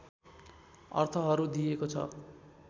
अर्थहरू दिइएको छ